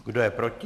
Kdo je proti?